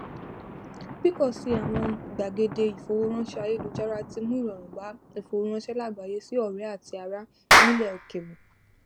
pípọ sí i àwọn gbàgede ìfowóránṣẹ ayélujára tí mú ìrọrùn bá ìfowóránṣẹ lágbàáyé sí ọrẹ àti ará nílẹ òkèrè